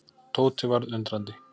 Tóti varð undrandi.